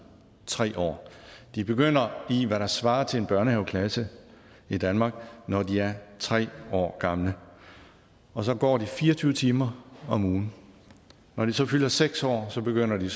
tre år de begynder i hvad der svarer til en børnehaveklasse i danmark når de er tre år gamle og så går de fire og tyve timer om ugen når de så fylder seks år begynder de